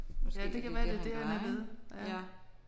Ja det kan være det er det han er ved ja